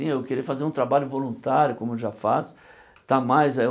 eu queria fazer um trabalho voluntário, como eu já faço. Estar mais